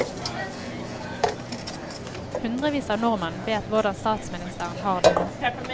Hundrevis av nordmenn vet hvordan statsministeren har det nå.